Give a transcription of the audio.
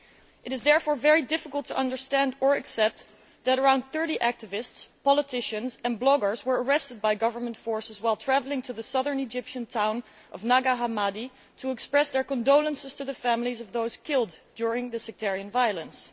It is therefore very difficult to understand or accept that around 30 activists, politicians and bloggers were arrested by government forces while travelling to the southern Egyptian town of Nag Hammadi to express their condolences to the families of those killed during the sectarian violence.